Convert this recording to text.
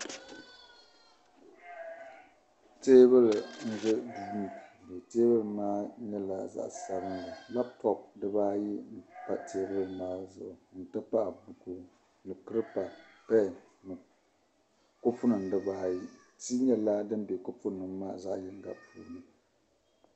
Teebuli n ʒa duu ŋɔ tee buli maa nyɛla zaɣi sabin li lap top dibaayi npa teebuli maa zuɣu n ti pahi buku ni kiripa pen kopu nim gba zaaha nyɛla din beni ti nyɛla din be kopu maa zaɣi yiŋga puuni